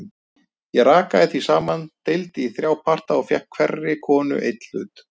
Ég rakaði því saman, deildi í þrjá parta og fékk hverri konu einn hlut.